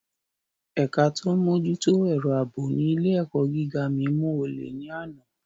Ẹ̀ka tó ń mójútó ètò ààbò ní ilé - èkọ́ gíga mi mú olè ní àná